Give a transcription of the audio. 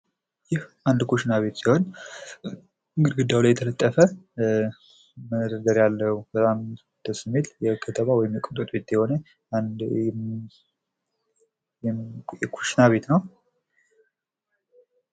ይህ አንድ ኩሽና ቤት ሲሆን ፤ ግርግዳው ላይ የተለጠፈ መደርደሪያ አለው ፤ በጣም ደስ የሚል የከተማ ቤት የሆነ አንድ የኩሽና ቤት ነው።